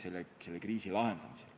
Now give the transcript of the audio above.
Anti Poolamets, palun!